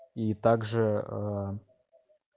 и также